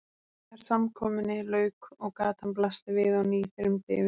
Þegar samkomunni lauk og gatan blasti við á ný þyrmdi yfir mig.